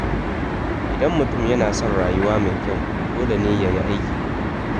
Idan mutum yana son rayuwa mai kyau, dole ne ya yi aiki tuƙuru.